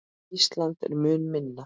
Ísland er mun minna.